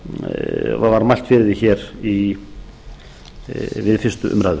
var mælt fyrir því hér við fyrstu umræðu